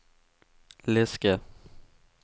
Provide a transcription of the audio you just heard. läska